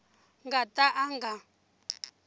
nga ta ka a nga